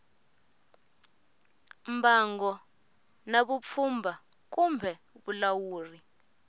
mbango na vupfhumba kumbe vulawuri